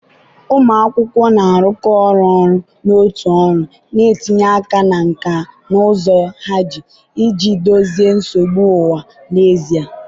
ụmụ akwụkwọ na-arụkọ ọrụ ọnụ na otu ọrụ, na-etinye aka na nkà na ụzụ ha iji dozie nsogbu ụwa n'ezie.